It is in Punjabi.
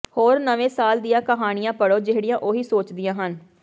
ਹੋਰ ਨਵੇਂ ਸਾਲ ਦੀਆਂ ਕਹਾਣੀਆਂ ਪੜ੍ਹੋ ਜਿਹੜੀਆਂ ਉਹੀ ਸੋਚਦੀਆਂ ਹਨ